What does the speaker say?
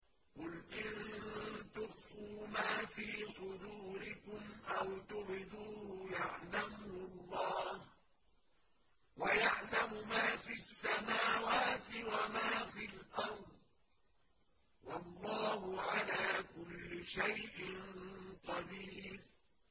قُلْ إِن تُخْفُوا مَا فِي صُدُورِكُمْ أَوْ تُبْدُوهُ يَعْلَمْهُ اللَّهُ ۗ وَيَعْلَمُ مَا فِي السَّمَاوَاتِ وَمَا فِي الْأَرْضِ ۗ وَاللَّهُ عَلَىٰ كُلِّ شَيْءٍ قَدِيرٌ